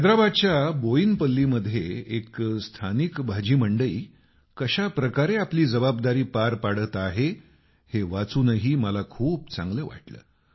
हैदराबादच्या बोयिनपल्लीमध्ये एक स्थानिक भाजी मंडई कशा प्रकारे आपली जबाबदारी पार पाडत आहे हे वाचूनही मला खूप चांगलं वाटलं